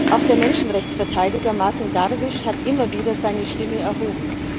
Auch der Menschenrechtsverteidiger Mazen Darwish hat immer wieder seine Stimme erhoben.